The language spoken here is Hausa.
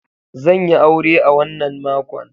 Zan yi aure a wannan makon.